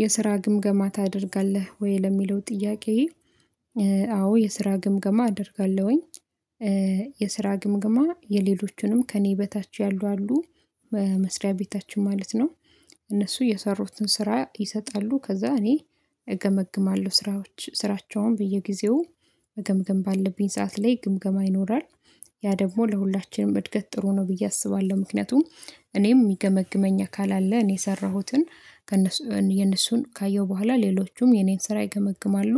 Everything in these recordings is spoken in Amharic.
የስራ ግምገማ ታደርጋለህ ወይ ለሚለው ጥያቄ? አዎ የስራ ግምገማ አደርጋለሁኝ። የስራ ግምገማ የሌሎቹንም ከእኔ በታች ያሉ አሉ መስሪያ ቤታችን ማለት ነው። እነሱ የሰሩትን ስራ ይሰጣሉ ከዛ እኔ እገመግማለሁ ስራዎች ስራቸውን በየጊዜው መገምገም ባለብኝ ሰዓት ላይ ግምገማ ይኖራል። ያ ደግሞ ለሁላችንም እድገት ጥሩ ነው ብዬ አስባለሁ ምክንያቱም እኔም ሚገመግመኝ አካል አለ እኔ የሰራሁትን ከእነሱ የእነሱን ካየሁ በኋላ ሌሎቹም የኔን ስራ ይገመግማሉ።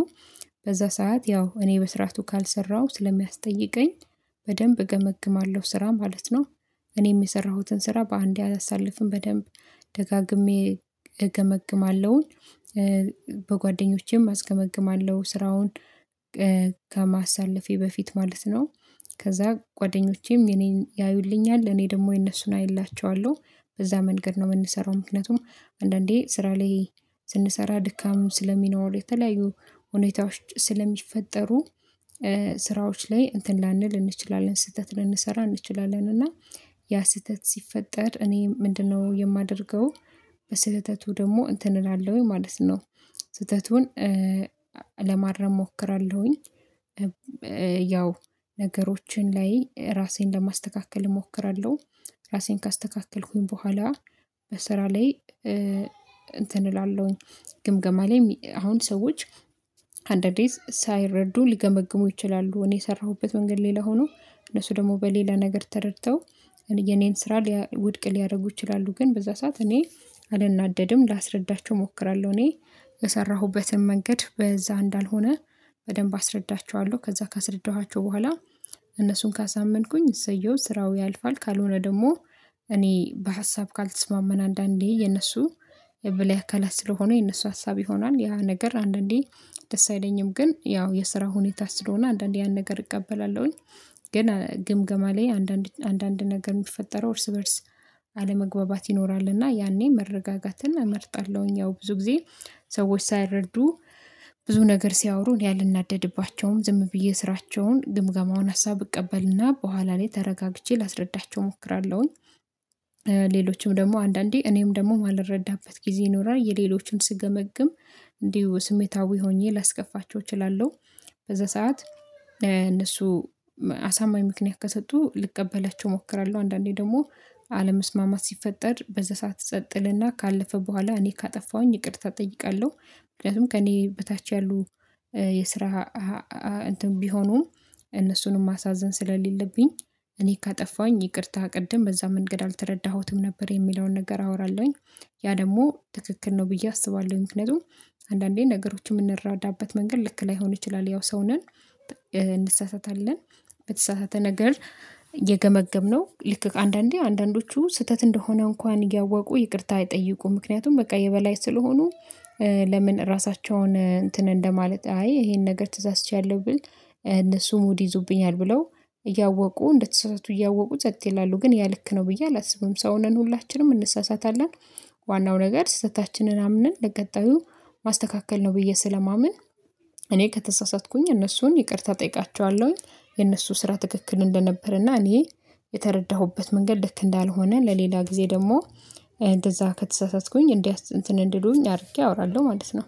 በዛ ሰዓት ያው እኔ በስርዓቱ ካልሰራሁ ስለሚያስጠይቀኝ በደንብ እገመግማለሁ ስራ ማለት ነው። እኔም የሰራሁትን ስራ በአንዴ አላሳልፍም በደንብ ደጋግሜ እገመግማለሁኝ። በጓደኞቼም አስገመግማለሁ ስራውን ከማሳለፌ በፊት ማለት ነው። ከዛ ጓደኞቼም የኔን ያዩልኛል እኔ ደግሞ የነሱን አይላቸዋለሁ በዛ መንገድ ነው ምንሰራው። ምክንያቱም አንዳንዴ ስራ ላይ ስንሰራ ድካም ስለሚኖር የተለያዩ ሁኔታዎች ስለሚፈጠሩ ስራዎች ላይ እንትን ላንል እንችላለን ስህተት ልንሰራ እንችላለን እና ያ ስህተት ሲፈጠር እኔ ምንድነው የማደርገው? በስህተቱ ደግሞ እንትን እላለሁኝ ማለት ነው። ስህተቱን ለማረም እሞክራለሁኝ። ያው ነገሮችን ላይ እራሴን ለማስተካከል እሞክራለሁ። ራሴን ካስተካከልኩኝ በኋላ በስራ ላይ እንትን እላለሁኝ። ግምገማ ላይ ሚ አሁን ሰዎች አንዳንዴ ሳይረዱ ሊገመግሙ ይችላሉ እኔ የሰራሁበት መንገድ ሌላ ሆኖ እነሱ ደግሞ በሌላ ነገር ተረድተው የኔን ስራ ሊያ ውድቅ ሊያረጉ ይችላሉ። ግን በዛ ሰዓት እኔ አልናደድም ላስረዳቸው እሞክራለሁ እኔ በሰራሁበትም መንገድ በዛ እንዳልሆነ በደንብ አስረዳቸዋለሁ ከዛ ካስረዳኋቸው በኋላ እነሱን ካሳመንኩኝ እሰየው ስራው ያልፋል። ካልሆነ ደግሞ እኔ በሀሳብ ካልተስማማን አንዳንዴ የነሱ የበላይ አካላት ስለሆነ የነሱ ሀሳብ ይሆናል ያ ነገር አንዳንዴ ደስ አይለኝም ግን ያው የስራ ሁኔታ ስለሆነ አንዳንዴ ያን ነገር እቀበላለሁኝ። ግን ግምገማ ላይ አንዳንድ አንዳንድ ነገር ሚፈጠረው እርስ በእርስ አለመግባባት ይኖራል እና ያኔ መረጋጋትን እመርጣለሁኝ ያው ብዙ ጊዜ ሰዎች ሳይረዱ ብዙ ነገር ሲያወሩ እኔ አልናደድባቸውም ዝም ብዬ ስራቸውን ግምገማውን ሀሳብ እቀበልና በኋላ ላይ ተረጋግቼ ላስረዳቸው እሞክራለሁኝ። ሌሎችም ደግሞ አንዳንዴ እኔም ደግሞ ማልረዳበት ጊዜ ይኖራል የሌሎችን ስገመግም እንዲሁ ስሜታዊ ሆኜ ላስከፋቸው እችላለሁ። በዛ ሰዓት እነሱ መ አሳማኝ ምክንያት ከሰጡ ልቀበላቸው እሞክራለሁ አንዳንዴ ደግሞ አለመስማማት ሲፈጠር በዛ ሰዓት ጸጥ እልና ካለፈ በኋላ እኔ ካጠፋሁኝ ይቅርታ እጠይቃለሁ። ምክንያቱም ከእኔ በታች ያሉ የስራ እንትን ቢሆኑም እነሱንም ማሳዘን ስለሌለብኝ እኔ ካጠፋሁኝ ይቅርታ ቅድም በዛ መንገድ አልተረዳሁትም ነበር የሚለውን ነገር አወራለሁኝ ያ ደግሞ ትክክል ነው ብዬ አስባለሁኝ። ምክንያቱም አንዳንዴ ነገሮችን ምንረዳበት መንገድ ልክ ላይሆን ይችላል ያው ሰው ነን። እንሳሳታለን በተሳሳትን ነገር የገመገምነው ልክ ከአንዳንዴ አንዳንዶቹ ስህተት እንደሆነ እንኳን እያወቁ ይቅርታ አይጠይቁም። ምክንያቱም በቃ የበላይ ስለሆኑ ለምን እራሳቸውን እንትን እንደማለት አይ ይሄን ነገር ተሳስቻለሁ ብል እነሱ ሙድ ይይዙብኛል ብለው እያወቁ እንደተሳሳቱ እያወቁ ጸጥ ይላሉ ግን ያ ልክ ነው ብዬ አላስብም። ሰው ነን ሁላችንም እንሳሳታለን። ዋናው ነገር ስህተታችንን አምነን ለቀጣዩ ማስተካከል ነው ብዬ ስለማምን እኔ ከተሳሳትኩኝ እነሱን ይቅርታ እጠይቃቸዋለሁኝ። የነሱ ስራ ትክክል እንደነበር እና እኔ የተረዳሁበት መንገድ ልክ እንዳልሆነ ለሌላ ጊዜ ደግሞ እንደዛ ከተሳሳትኩኝ እንዲያስ እንትን እንዲሉኝ አድርጌ አወራለሁ ማለት ነው